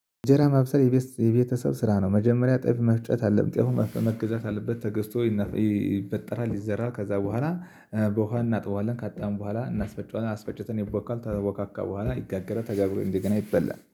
እንጀራ ማብሰል የቤተሰብ ስራ ነው። መጀመሪያ ጤፍ መፍጨት አደለም ጤፉ መገዛት አለበት ተገዝቶ ይበጠራል ይዘራ ከዛ በኋላ። በውሃ እናጥበዋለን ካጠብን በኋላ እናስፈጨዋለን አስፈጨተን ይቦካል ከተቦካካ በኋላ ይጋገረል ተጋግሮ እንደገና ይበላል